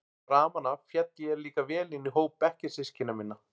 Framan af féll ég líka vel inn í hóp bekkjarsystkina minna.